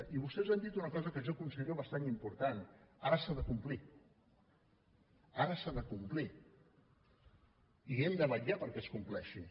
i vostès han dit una cosa que jo considero bastant important ara s’ha de complir ara s’ha de complir i hem de vetllar perquè es compleixi